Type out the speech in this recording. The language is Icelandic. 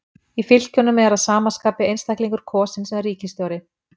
Í fylkjunum er að sama skapi einstaklingur kosinn sem ríkisstjóri.